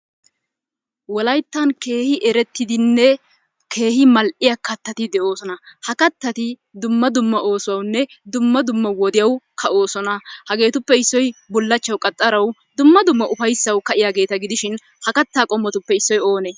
Wolayttan keehi eretidinne keehi mal'iya katatti de'oososna. Ha katatti dumma dumma oosuwawunne dumma dumma wodiyaywu ka'oosona. Hageetuppe issoy bulachawu qaxxarawu dumma dumma ufaysawu ka'iyaageeta gidishin ha kataa qommotuppe issoy oonee?